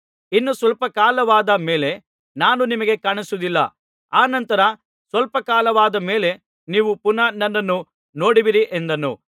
ಇನ್ನು ಸ್ವಲ್ಪ ಕಾಲವಾದ ಮೇಲೆ ನಾನು ನಿಮಗೆ ಕಾಣಿಸುವುದಿಲ್ಲ ಅನಂತರ ಸ್ವಲ್ಪ ಕಾಲವಾದ ಮೇಲೆ ನೀವು ಪುನಃ ನನ್ನನ್ನು ನೋಡುವಿರಿ ಎಂದನು